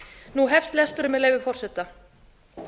nú hefst lesturinn með leyfi forseta á